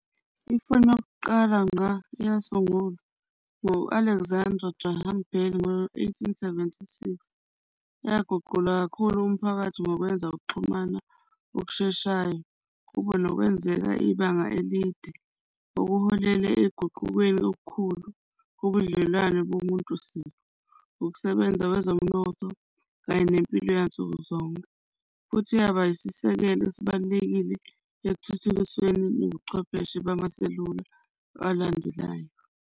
Ifoni yokuqala ngqa eyasungulwa ngu-Alexandra Graham Bell ngo-eighteen seventy-six. Yaguqula kakhulu umphakathi ngokwenza ukuxhumana okusheshayo kube nokwenzeka ibanga elide ngokuholela ezinguqukweni okukhulu, ubudlelwane bomuntu siqu, ukusebenza wezomnotho kanye nempilo yansuku zonke. Futhi yaba isisekelo esibalulekile ekuthuthukiseni bobuchwepheshe bamaselula alandelayo.